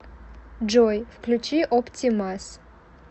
джой включи опти мас